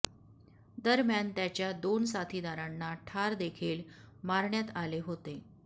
दरम्यान त्याच्या दोन साथीदारांना ठार देखील मारण्यात आले होते